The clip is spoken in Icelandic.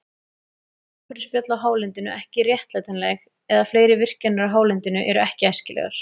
Nú eru umhverfisspjöll á hálendinu ekki réttlætanleg, eða fleiri virkjanir á hálendinu eru ekki æskilegar.